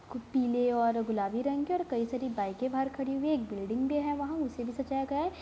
कुछ पीले और गुलाबी रंग के और कई सारी बाइकें बाहर खड़ी हुई है। एक बिल्डिंग भी है वहाँ उसे भी सजाया गया है।